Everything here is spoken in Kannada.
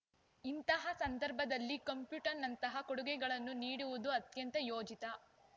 ಇಂತಹ ಸಂದರ್ಭದಲ್ಲಿ ಕಂಪ್ಯೂಟರ್‌ನಂತಹ ಕೊಡುಗೆಗಳನ್ನು ನೀಡುವುದು ಅತ್ಯಂತ ಯೋಜಿತ